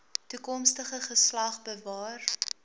toekomstige geslag bewaar